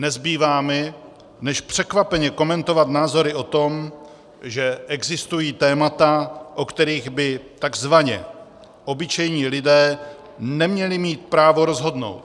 Nezbývá mi než překvapeně komentovat názory o tom, že existují témata, o kterých by tzv. obyčejní lidé neměli mít právo rozhodnout.